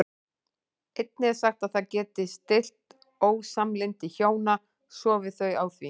Einnig er sagt að það geti stillt ósamlyndi hjóna sofi þau á því.